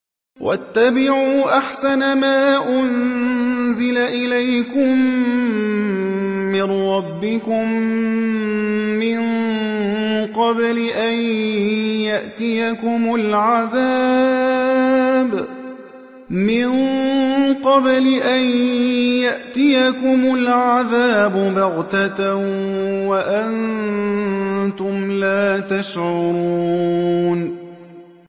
وَاتَّبِعُوا أَحْسَنَ مَا أُنزِلَ إِلَيْكُم مِّن رَّبِّكُم مِّن قَبْلِ أَن يَأْتِيَكُمُ الْعَذَابُ بَغْتَةً وَأَنتُمْ لَا تَشْعُرُونَ